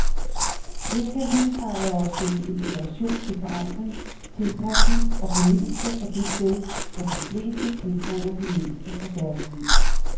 Her kan husejere søge inspiration til forandring, tilpasning og fornyelse af det sted, hvor de fleste tilbringer det meste af deres liv.